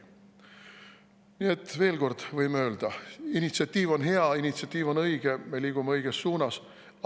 Nii et veel kord võime öelda: initsiatiiv on hea, initsiatiiv on õige, me liigume õiges suunas.